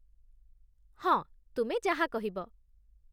ହଁ, ତୁମେ ଯାହା କହିବ ।